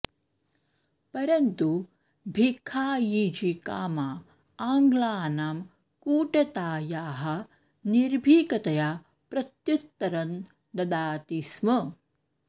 परन्तु भीखायीजी कामा आङ्ग्लानां कूटतायाः निर्भीकतया प्रत्युत्तरं ददाति स्म